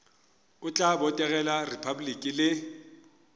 o tla botegela repabliki le